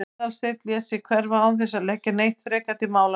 Aðalsteinn lét sig hverfa án þess að leggja neitt frekar til málanna.